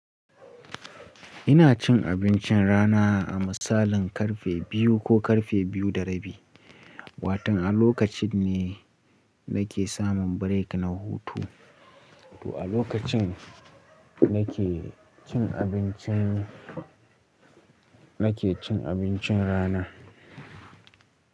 Ina cin abincin rana a misalin karfe biyu ko karfe biyu da rabi. Watan a lokacin ne nake samun break na hutu, to a lokacin nake cin abincin, nake cin abincin rana.